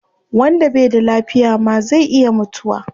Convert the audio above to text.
Wanda bai da lafiya ma zai iya mutuwa